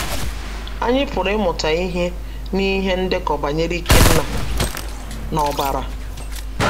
Anyị pụrụ ịmụta ihe n’ihe ndekọ banyere Ikenna na Obara